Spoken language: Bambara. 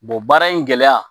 baara in gɛlɛya